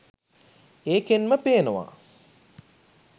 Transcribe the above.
ඒකෙන්ම පේනව